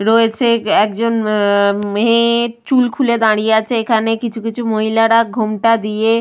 রয়েছে একজন আহ মেয়ে-এ চুল খুলে দাঁড়িয়ে আছে। এখানে কিছু কিছু মহিলারা ঘোমটা দিয়ে --